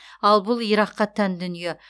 ал бұл иракқа тән дүние